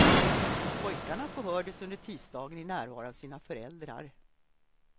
Pojkarna förhördes under tisdagen i närvaro av sina föräldrar.